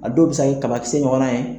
A dɔw bɛ se ka kɛ kabakisɛ ɲɔgɔn na ye.